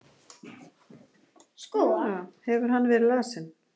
Hefur hann verið lasinn?